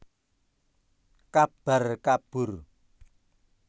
Kabar kabur